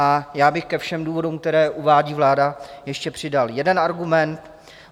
A já bych ke všem důvodům, které uvádí vláda, ještě přidal jeden argument.